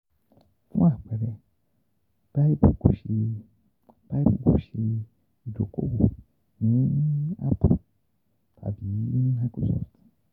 Fun apẹẹrẹ, BIBLE ko ṣe BIBLE kò ṣe idoko-owo ni Apple tabi Microsoft